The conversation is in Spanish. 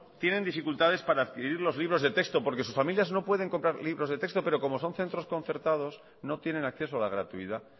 tienen dificultades para adquirir los libros de texto porque sus familias no pueden comprar libros de texto pero como son centros concertados no tienen acceso a la gratuidad